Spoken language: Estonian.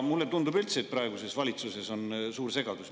Mulle tundub üldse, et praeguses valitsuses on suur segadus.